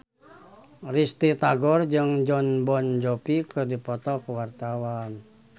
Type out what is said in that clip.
Risty Tagor jeung Jon Bon Jovi keur dipoto ku wartawan